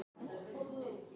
fjóra